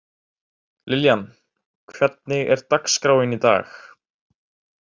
Liljan, hvernig er dagskráin í dag?